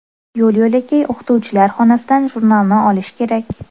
Yo‘l-yo‘lakay o‘qituvchilar xonasidan jurnalni olish kerak.